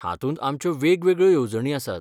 हातूंत आमच्यो वेगवेगळ्यो येवजणी आसात.